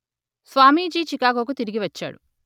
స్వామీజీ చికాగోకు తిరిగి వచ్చాడు